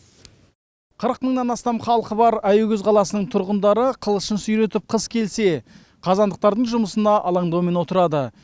қырық мыңнан астам халқы бар аягөз қаласының тұрғындары қылышын сүйретіп қыс келсе қазандықтардың жұмысына алаңдаумен отырады